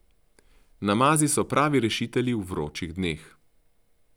Namazi so pravi rešitelji v vročih dneh.